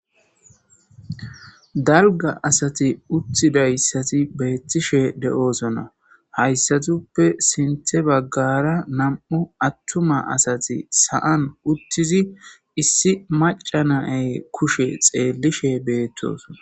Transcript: dalga asati uttidayssati beettishe de7oosona hayssatuppe sinthe baggara nam7u attuma asati saan uttizi issi macanay kushe xeellishe beettosona